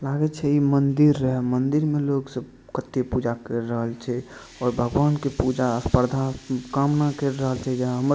लगे छै इ मंदिर रहे मंदिर में लोग सब कते पूजा कर रहल छै और भगवान के पूजा स्पर्धा कामना कर रहल छै जे हमर--